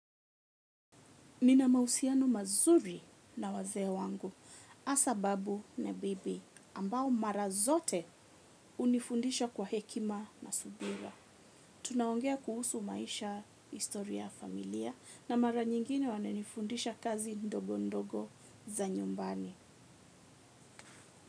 Nina mahusiano mazuri na wazee wangu hasa babu na bibi ambao mara zote hunifundisha kwa hekima na subira. Tunaongea kuhusu maisha, historia, familia na mara nyingine wananifundisha kazi ndogo ndogo za nyumbani.